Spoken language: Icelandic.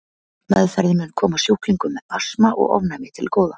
Meðferðin mun koma sjúklingum með astma og ofnæmi til góða.